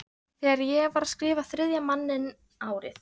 Þegar ég var að skrifa Þriðja manninn árið